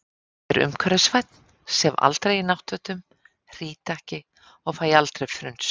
Ég er umhverfisvænn, sef aldrei í náttfötum, hrýt ekki og fæ aldrei frunsu.